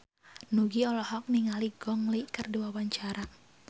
Nugie olohok ningali Gong Li keur diwawancara